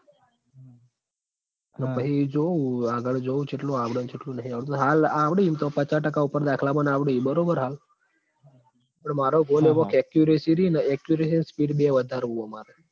અન પહી જોવું આગડ જોવું ચેટલું આવડ ન ચેટલું નહીં આવડતું હાલ આવડી ઇમ તો પચા ટકા ઉપર દાખલા મન આવડી બરોબર હાલ પણ માર goal એવો accuracy રી ન accuracy અને speed બેય વધારવું હ માર